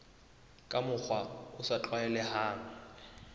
ka mokgwa o sa tlwaelehang